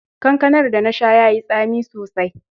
Kankanar da na sha ya yi tsami sosai.